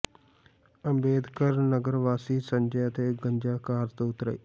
ਅੰਬੇਡਕਰ ਨਗਰ ਵਾਸੀ ਸੰਜੈ ਅਤੇ ਗੰਜਾ ਕਾਰ ਤੋਂ ਉਤਰੇ